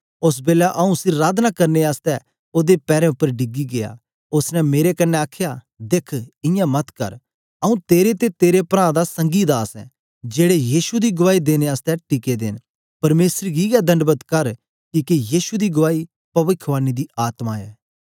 ओस बेलै आऊँ उसी अराधना करने आसतै ओदे पैरें उपर डिगी गीया उस्स ने मेरे कन्ने आखया दिख इयां मत कर आऊँ तेरे ते तेरे प्रां दा संगी दास ऐ जेड़े यीशु दी गुआई देने आसतै टिके दे न परमेसर गी गै दंडवत कर किके यीशु दी गुआई पविखवाणी दी आत्मा ऐ